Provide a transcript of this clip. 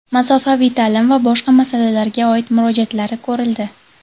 masofaviy ta’lim va boshqa masalalarga oid murojaatlari ko‘rildi.